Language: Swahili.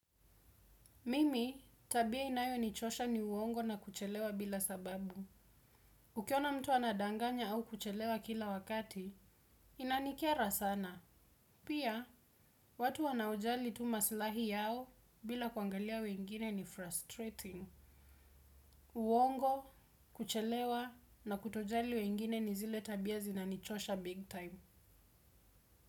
Mimi, tabia inayonichosha ni uongo na kuchelewa bila sababu. Ukiona mtu anadanganya au kuchelewa kila wakati, inanikera sana. Pia, watu wanaojali tu masilahi yao bila kuangalia wengine ni frustrating. Uongo, kuchelewa na kutojali wengine ni zile tabia zinanichosha big time.